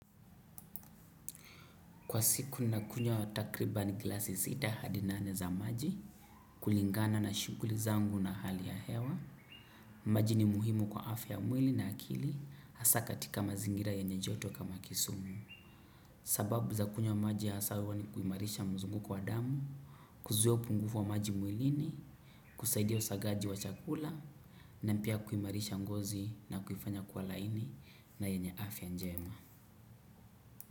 Kwa siku nakunywa takriban glasi sita hadi nane za maji, kulingana na shughuli zangu na hali ya hewa, maji ni muhimu kwa afya mwili na akili, haswa katika mazingira yenye joto kama kisumu. Sababu za kunywa maji haswa huwa ni kuimarisha mzunguko wa damu, kuzuia upungufu wa maji mwilini, kusaidia usagaji wa chakula, na pia kuimarisha ngozi na kuifanya kuwa laini na yenye afya njema.